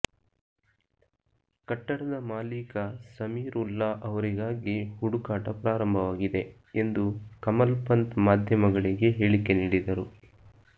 ಕಟ್ಟಡದ ಮಾಲೀಕ ಸಮೀರ್ ವುಲ್ಲಾ ಅವರಿಗಾಗಿ ಹುಡುಕಾಟ ಪ್ರಾರಂಭವಾಗಿದೆ ಎಂದು ಕಮಲ್ ಪಂಥ್ ಮಾಧ್ಯಮಗಳಿಗೆ ಹೇಳಿಕೆ ನೀಡಿದರು